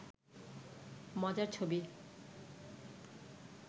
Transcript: মজার ছবি